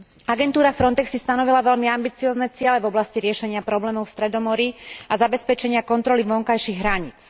Agentúra FRONTEX si stanovila veľmi ambiciózne ciele v oblasti riešenia problémov v Stredomorí a zabezpečenia kontroly vonkajších hraníc.